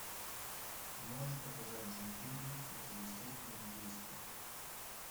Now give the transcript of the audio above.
можешь показать джим керри противоестественное действо